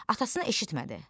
Atasına eşitmədi.